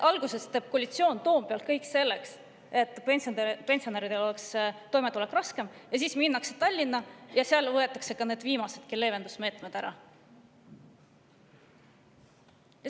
Alguses teeb koalitsioon Toompeal kõik selleks, et pensionäridel oleks raskem toime tulla, ja siis minnakse Tallinna ja võetakse seal ka viimased leevendusmeetmed ära.